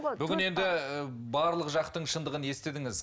бүгін енді барлық жақтың шындығын естідіңіз